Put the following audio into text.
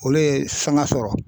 Olu ye sanga sɔrɔ.